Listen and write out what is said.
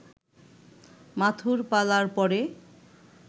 মাথুর পালার পরে